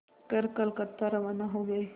कर कलकत्ता रवाना हो गए